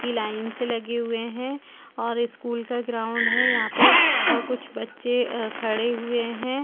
की लाइन से लगे हुए हैं और स्कूल का ग्राउंड है यहां पे और कुछ बच्चे खड़े हुए हैं।